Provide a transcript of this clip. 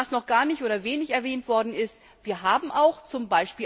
Was noch gar nicht oder wenig erwähnt worden ist Wir haben auch z.